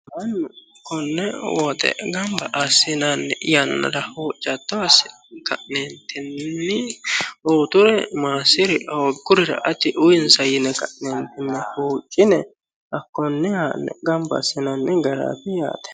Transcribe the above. mannu konne woxe gamba assinanni yannara hatto assine ka'neentinni uyiiture maassiri hooggurira ati uyiinsa yine ka'neentinni huuccine hakonne haa'ne gamba assinanni garaati yaate.